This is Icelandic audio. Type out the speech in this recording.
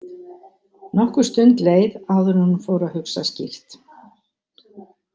Nokkur stund leið áður en hún fór að hugsa skýrt.